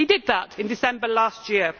He did that in December last year.